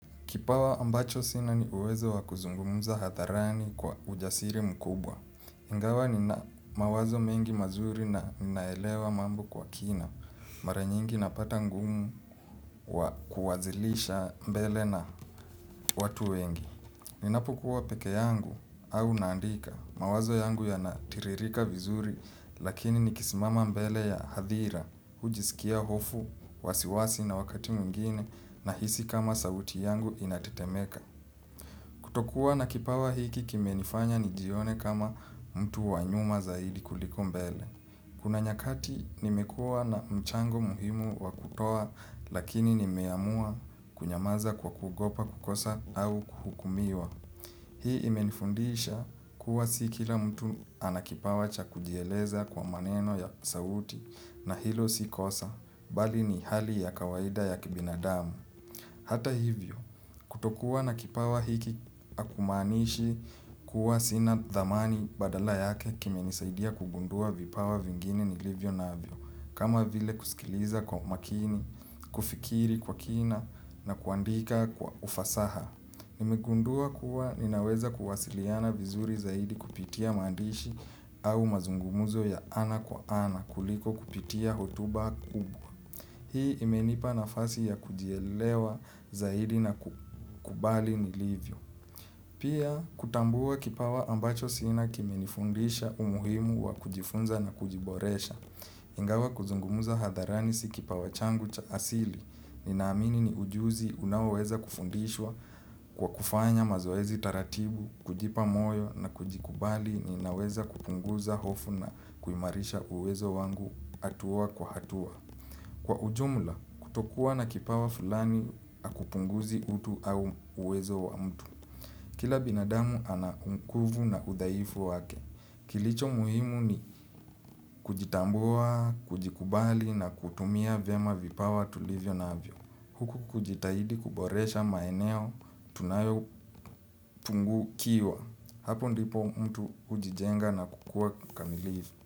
Kipawa ambacho sina ni uwezo wa kuzungumza hadharani kwa ujasiri mkubwa. Ingawa nina mawazo mengi mazuri na ninaelewa mambo kwa kina. Mara nyingi napata ngumu kwa kuwasilisha mbele na watu wengi. Ninapokuwa peke yangu au naandika. Mawazo yangu yanatiririka vizuri lakini nikisimama mbele ya hadhira. Hujisikia hofu, wasiwasi na wakati mwingine nahisi kama sauti yangu inatetemeka. Kutokuwa na kipawa hiki kimenifanya nijione kama mtu wa nyuma zaidi kuliko mbele. Kuna nyakati nimekuwa na mchango muhimu wa kutoa lakini nimeamua kunyamaza kwa kugopa kukosa au kuhukumiwa. Hii imenifundisha kuwa si kila mtu ana kipawa cha kujieleza kwa maneno ya sauti na hilo si kosa bali ni hali ya kawaida ya kibinadamu. Hata hivyo, kutokuwa na kipawa hiki hakumaanishi kuwa sina dhamani badala yake kimenisaidia kugundua vipawa vingine nilivyo navyo. Kama vile kusikiliza kwa umakini, kufikiri kwa kina na kuandika kwa ufasaha. Nimegundua kuwa ninaweza kuwasiliana vizuri zaidi kupitia maandishi au mazungumzo ya ana kwa ana kuliko kupitia hotuba kubwa. Hii imenipa nafasi ya kujielewa zaidi na kukubali nilivyo. Pia, kutambua kipawa ambacho sina kimenifundisha umuhimu wa kujifunza na kujiboresha. Ingawa kuzungumza hadharani si kipawa changu cha asili. Ninaamini ni ujuzi unaoweza kufundishwa kwa kufanya mazoezi taratibu, kujipa moyo na kujikubali ninaweza kupunguza hofu na kuimarisha uwezo wangu hatua kwa hatua. Kwa ujumla, kutokuwa na kipawa fulani hakupunguzi utu au uwezo wa mtu. Kila binadamu ana kumkuvu na udhaifu wake. Kilicho muhimu ni kujitambua, kujikubali na kutumia vyema vipawa tulivyonavyo. Huku kujitahidi kuboresha maeneo tunayopungukiwa. Hapo ndipo mtu hujijenga na kukua kamilifu.